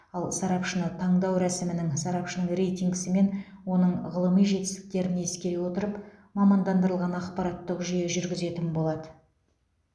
ал сарапшыны таңдау рәсімінің сарапшының рейтингісі мен оның ғылыми жетістіктерін ескере отырып мамандандырылған ақпараттық жүйе жүргізетін болады